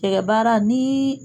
Cɛgɛ baara ni